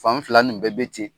Fan fila nin bɛɛ be ten.